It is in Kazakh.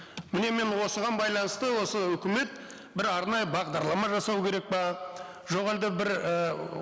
міне мен осыған байланысты осы үкімет бір арнайы бағдарлама жасау керек пе жоқ әлде бір і